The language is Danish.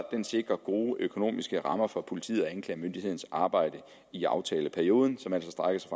den sikrer gode økonomiske rammer for politiets og anklagemyndighedens arbejde i aftaleperioden som altså strækker sig